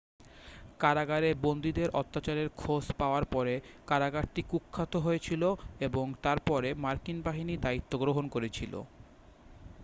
কারাগারে বন্দীদের অত্যাচারের খোঁজ পাওয়ার পরে কারাগারটি কুখ্যাত হয়েছিল এবং তার পরে মার্কিন বাহিনী দায়িত্ব গ্রহণ করেছিল